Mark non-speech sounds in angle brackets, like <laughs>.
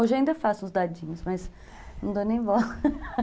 Hoje ainda faço os dadinhos, mas não dou nem bola <laughs>